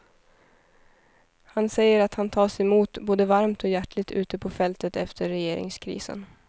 Han säger att han tas emot både varmt och hjärtligt ute på fältet efter regeringskrisen.